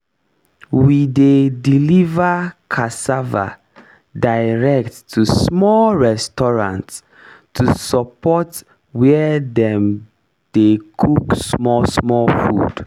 we dey deliver cassava direct to small restaurants to support where dem dey cook small small food